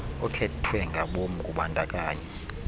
okhethwe ngabom kubandakanyo